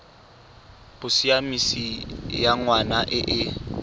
bosiamisi ya ngwana e e